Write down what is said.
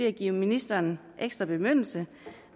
at give ministeren ekstra bemyndigelse